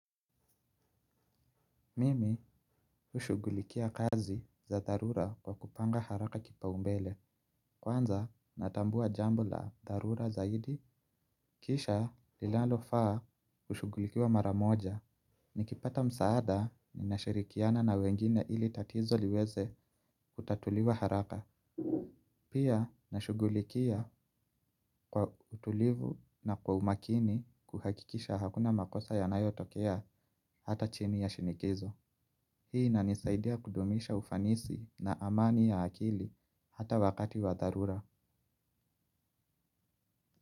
Mimi hushughulikia kazi za dharura kwa kupanga haraka kipaumbele. Kwanza natambua jambo la dharura zaidi. Kisha linalofaa kushughulikiwa maramoja. Nikipata msaada ninashirikiana na wengine ili tatizo liweze kutatuliwa haraka. Pia nashughulikia kwa utulivu na kwa umakini kuhakikisha hakuna makosa yanayotokea hata chini ya shinikizo. Hii inanisaidia kudumisha ufanisi na amani ya akili hata wakati wa dharura.